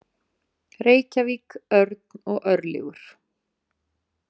Reykjavík, Örn og Örlygur.